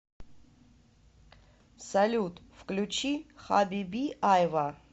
салют включи хабиби айва